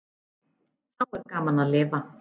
Þá er gaman að lifa!